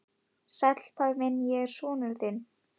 Sæll, pabbi minn, ég er sonur þinn.